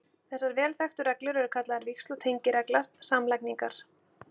Þessar vel þekktu reglur eru kallaðar víxl- og tengiregla samlagningar.